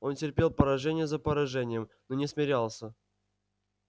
он терпел поражение за поражением но не смирялся